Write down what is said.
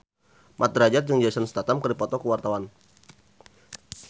Mat Drajat jeung Jason Statham keur dipoto ku wartawan